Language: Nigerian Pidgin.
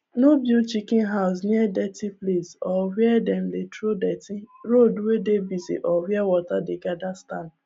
no build chicken house near dirty place or wey them dey throw dirty road wey dey bussy or where water dey gather stand